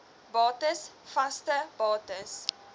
bates vaste bates